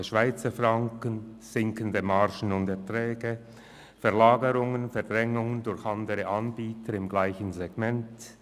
der starke Schweizer Franken, sinkende Margen und Erträge, Verlagerungen und Verdrängungen durch andere Anbieter im gleichen Segment;